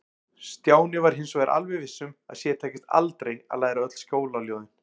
Stjáni var hins vegar alveg viss um að sér tækist aldrei að læra öll skólaljóðin.